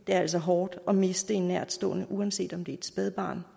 er altså hårdt at miste en nærtstående uanset om det er et spædbarn